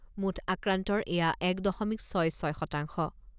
মুঠ আক্ৰান্তৰ এয়া এক দশমিক ছয় ছয় শতাংশ।